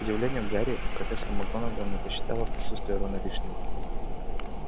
к удивлению гарри профессор макгонагалл не посчитала присутствие рона лишним